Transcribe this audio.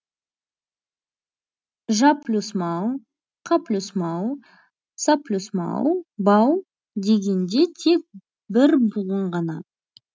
жаплюсмау қаплюсмау саплюсмау бау дегенде тек бір буын ғана